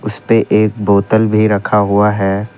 इसमें एक बोतल भी रखा हुआ है।